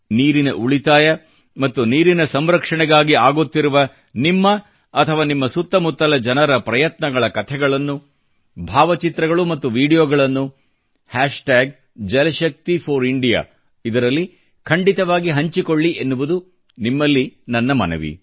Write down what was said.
ನೀರಿನ ಉಳಿತಾಯ ಮತ್ತು ನೀರಿನ ಸಂರಕ್ಷಣೆಗಾಗಿ ಆಗುತ್ತಿರುವ ನಿಮ್ಮ ಅಥವಾ ನಿಮ್ಮ ಸುತ್ತಮುತ್ತಲ ಜನರ ಪ್ರಯತ್ನಗಳ ಕಥೆಗಳನ್ನು ಭಾವಚಿತ್ರಗಳು ಮತ್ತು ವೀಡಿಯೊಗಳನ್ನು jalshakti4India ಇದರಲ್ಲಿ ಖಂಡಿತವಾಗಿ ಹಂಚಿಕೊಳ್ಳಿ ಎನ್ನುವುದು ನಿಮ್ಮಲ್ಲಿ ನನ್ನ ಮನವಿ